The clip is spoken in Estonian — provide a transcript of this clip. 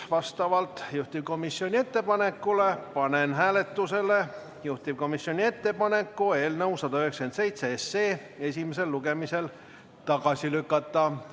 Vastavalt juhtivkomisjoni ettepanekule panen hääletusele ettepaneku eelnõu 197 esimesel lugemisel tagasi lükata.